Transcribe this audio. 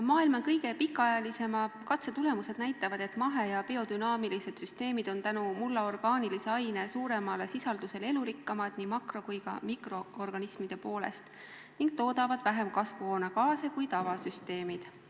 Maailma kõige pikaajalisemate katsete tulemused näitavad, et mahe- ja biodünaamilised süsteemid on tänu orgaanilise aine suuremale sisaldusele mullas elurikkamad nii makro- kui ka mikroorganismide poolest ning toodavad vähem kasvuhoonegaase kui tavasüsteemid.